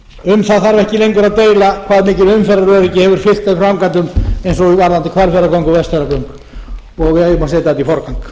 um það þarf ekki engar að deila hvað mikið umferðaröryggi hefur fylgt þeim framkvæmdum eins og varðandi hvalfjarðargöng og